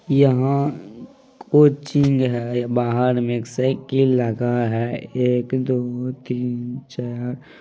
यहां कोचिंग है बाहर में एक साईकिल लगा है एक दो तीन चार।